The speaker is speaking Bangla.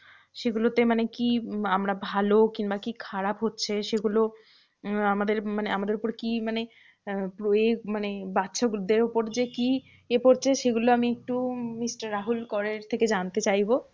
সেগুলোতে মানে কি আমরা ভালো? কিংবা কি খারাপ হচ্ছে? সেগুলো উম আমাদের মানে আমাদের উপর কি? মানে আহ মানে বাচ্চাদের উপরে যে কি এ পড়ছে? সেগুলো আমি একটু mister রাহুল করের থেকে জানতে চাইবো